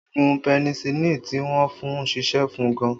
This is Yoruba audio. Oògùn penicilin tí wọn fún ṣiṣẹ́ fún gan